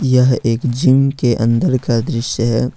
यह एक जिम के अंदर का दृश्य है।